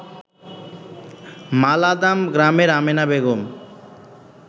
মালাদাম গ্রামের আমেনা বেগম